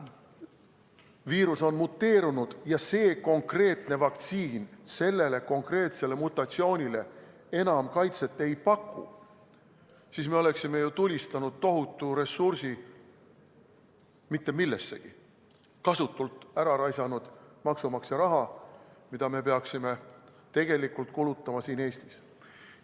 ..., et viirus on muteerunud ja see konkreetne vaktsiin sellele konkreetsele mutatsioonile enam kaitset ei paku, siis me oleksime tulistanud ju tohutu ressursi mitte millessegi, kasutult ära raisanud maksumaksja raha, mida me peaksime tegelikult kulutama siin Eestis.